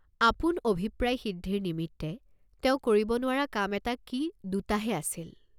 আপোন অভিপ্ৰায় সিদ্ধিৰ নিমিত্তে তেওঁ কৰিব নোৱাৰা কাম এটা কি দুটাহে আছিল।